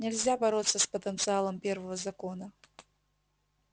нельзя бороться с потенциалом первого закона